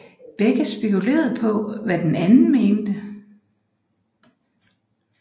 Begge spekulerede på hvad den anden mente